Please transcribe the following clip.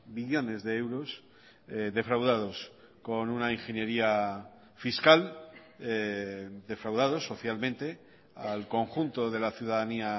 billones de euros defraudados con una ingeniería fiscal defraudados socialmente al conjunto de la ciudadanía